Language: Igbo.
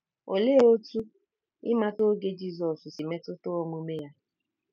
Olee otú ịmata oge Jizọs si metụta omume ya?